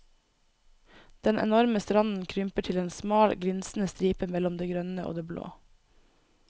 Den enorme stranden krymper til en smal glinsende stripe mellom det grønne og det blå.